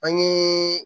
An ye